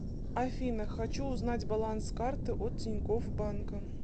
афина хочу узнать баланс карты от тинькофф банка